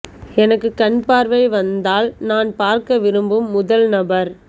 எனக்கு கண் பார்வை வந்தால் நான் பார்க்க விரும்பும் முதல் நபர்